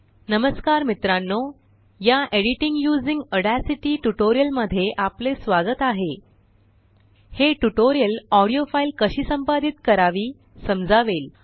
नमस्कार मित्रांनो या एडिटिंग युसिंग ऑड्यासिटीट्यूटोरियल मध्ये आपलेस्वागत आहे हे ट्यूटोरियलऑडिओ फाईल कशी संपादित करावी समजावेल